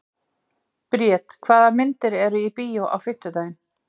Briet, hvaða myndir eru í bíó á fimmtudaginn?